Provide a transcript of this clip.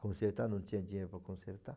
Consertar, não tinha dinheiro para consertar.